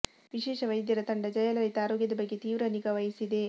ವಿಶೇಷ ವೈದ್ಯರ ತಂಡ ಜಯಲಲಿತಾ ಆರೋಗ್ಯದ ಬಗ್ಗೆ ತೀವ್ರ ನಿಗಾ ವಹಿಸಿದೆ